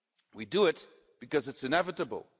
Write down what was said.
We do it because it's inevitable.